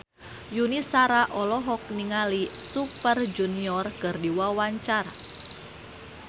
Yuni Shara olohok ningali Super Junior keur diwawancara